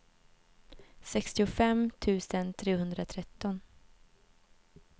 sextiofem tusen trehundratretton